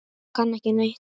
Ég kann ekki neitt.